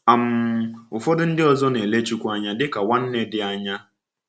um Ụfọdụ ndị ọzọ na-ele Chukwu anya dịka nwanne dị anya.